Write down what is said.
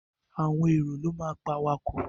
Àwọn èrò ló máa pe awakọ̀.